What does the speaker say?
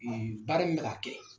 baara min bɛ ka kɛ.